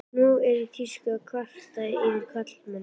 Nú er í tísku að kvarta yfir karlmönnum.